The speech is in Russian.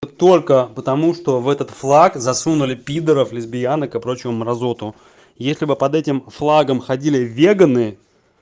вот только потому что в этот флаг засунули пидоров лесбиянок и прочую мразоту если бы под этим флагом ходили веганы